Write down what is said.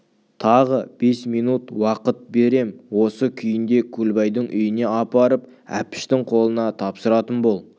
тағы бес минут уақыт берем осы күйінде көлбайдың үйіне апарып әпіштің қолына тапсыратын бол